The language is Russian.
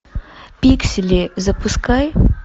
пиксели запускай